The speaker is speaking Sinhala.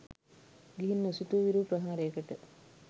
ගිහින් නොසිතු විරු ප්‍රහාරයකට